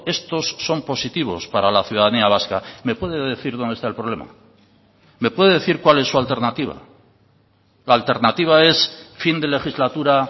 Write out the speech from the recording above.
estos son positivos para la ciudadanía vasca me puede decir dónde está el problema me puede decir cuál es su alternativa la alternativa es fin de legislatura